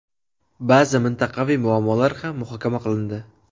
Ba’zi mintaqaviy muammolar ham muhokama qilindi.